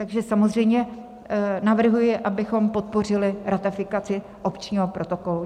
Takže samozřejmě navrhuji, abychom podpořili ratifikaci opčního protokolu.